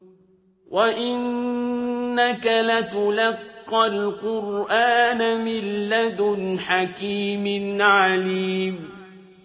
وَإِنَّكَ لَتُلَقَّى الْقُرْآنَ مِن لَّدُنْ حَكِيمٍ عَلِيمٍ